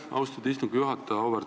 Aitäh, austatud istungi juhataja!